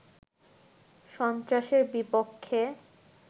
সন্ত্রাসের বিপক্ষে